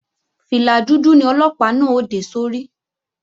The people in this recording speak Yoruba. Fìlà dúdú ni Ọlọ́pàá náà ó dé sórí